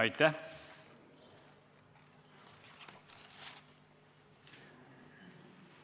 Aitäh!